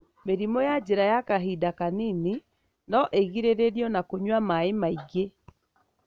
Mĩrimũ ya njira ya kahinada kanini no ĩgirĩrĩrio na kũnya maĩ maigĩ.